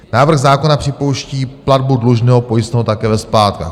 Návrh zákona připouští platbu dlužného pojistného také ve splátkách.